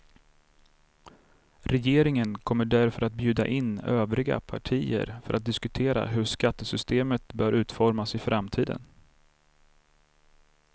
Regeringen kommer därför att bjuda in övriga partier för att diskutera hur skattesystemet bör utformas i framtiden.